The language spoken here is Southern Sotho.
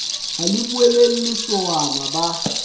ha le boulelle sowana ba